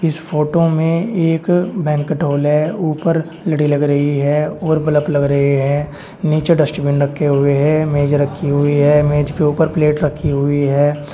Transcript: इस फोटो मे एक बैंकेट हॉल है। ऊपर लड़ी लग रही है और बलब लग रहे हैं। नीचे डस्टबिन रखे हुए हैं। मेज रखी हुई है। मेज के ऊपर प्लेट रखी हुई है।